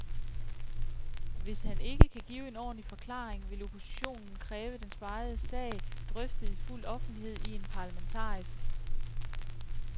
Hvis han ikke kan give en ordentlig forklaring, vil oppositionen kræve den spegede sag drøftet i fuld offentlighed i en parlamentarisk